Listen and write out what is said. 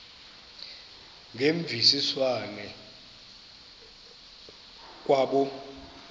ngemvisiswano r kwabo